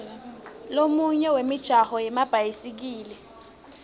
lomunye wemijaho yemabhayisikili